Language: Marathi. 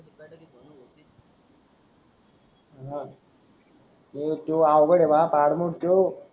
हा हो तोय अवगड आहे बा परणूक ठेव